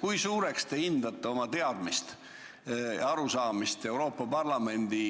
Kui heaks te hindate oma teadmisi ja arusaamist Euroopa Parlamendi